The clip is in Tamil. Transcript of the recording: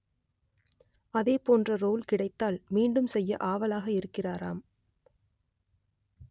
அதேபோன்ற ரோல் கிடைத்தால் மீண்டும் செய்ய ஆவலாக இருக்கிறாராம்